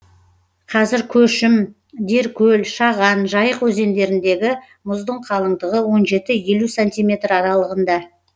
қазір көшім деркөл шаған жайық өзендеріндегі мұздың қалыңдығы он жеті елу сантиметр аралығында